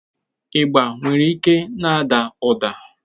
Ịgba nwere ike na-ada ụda.